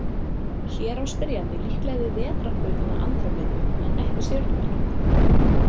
Hér á spyrjandi líklega við vetrarbrautina Andrómedu en ekki stjörnumerkið.